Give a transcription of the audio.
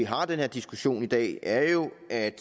har den her diskussion i dag er jo